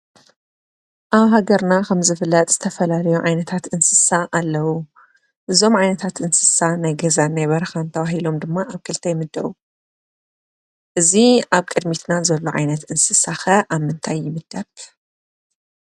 ኣብ ሃገርና ከም ዝፍለጥ ዝተፈላለዩ ዓይነታት እንስሳ ኣለዉ። እዞም ዓይነታት እንስሳ ናይ ገዛን ናይ በረኻን ተባሂሎም ድማ ኣብ ክልተ ይምደቡ። እዚ ኣብ ቅዲምትና ዘሎ ዓይነት እንስሳ ኸ ኣብ ምንታይ ይምደብ?